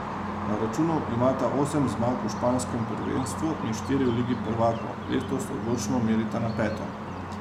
Na računu imata osem zmag v španskem prvenstvu in štiri v ligi prvakov, letos odločno merita na peto.